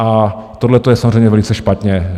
A tohle je samozřejmě velice špatně.